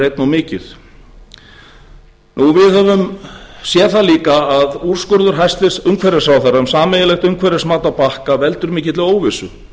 einni of mikið við höfum séð það líka að úrskurður hæstvirtur umhverfisráðherra um sameiginlegt umhverfismat á bakka veldur mikilli óvissu